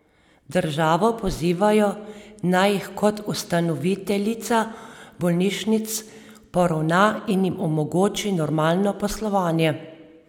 Državo pozivajo, naj jih kot ustanoviteljica bolnišnic poravna in jim omogoči normalno poslovanje.